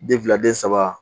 Den fila den saba